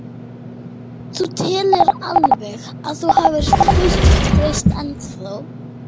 Erla: Þú telur alveg að þú hafir fullt traust ennþá þó?